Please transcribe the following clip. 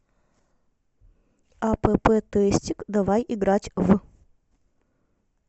апп тестик давай играть в